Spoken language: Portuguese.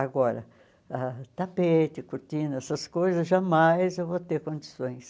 Agora, tapete, cortina, essas coisas, jamais eu vou ter condições.